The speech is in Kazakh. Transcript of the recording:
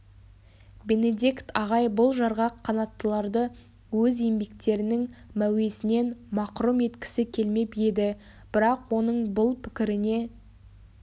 бенедикт ағай бұл жарғақ қанаттыларды өз еңбектерінің мәуесінен мақрұм еткісі келмеп еді бірақ оның бұл пікіріне